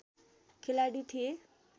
खेलाडी थिए